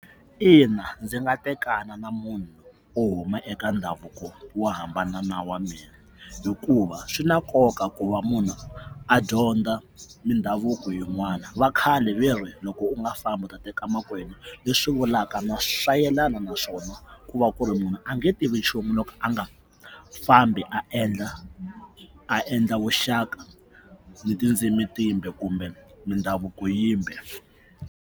Ina, ndzi nga tekana na munhu wo huma eka ndhavuko wo hambana na wa mina hikuva swi na nkoka ku va munhu a dyondza mindhavuko yin'wana vakhale ve ri loko u nga fambi u ta teka makwenu leswi vulaka swa yelana naswona ku va ku ri munhu a nge tivi nchumu loko a nga fambi a endla a endla vuxaka ni tindzimi timbe kumbe mindhavuko yimbe.